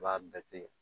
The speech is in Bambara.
I b'a bɛɛ tigɛ